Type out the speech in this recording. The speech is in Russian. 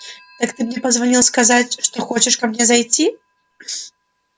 так ты мне позвонил сказать что хочешь ко мне зайти